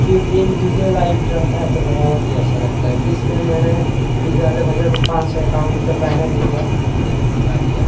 क्योंकि ये DJ light रहता है तो बहोत ही अच्छा लगता है इसलिए मैंने डी_जे वाले भैया को पांच सौ इक्यावन रुपया बयाना दिया और मैं मंगा लिया।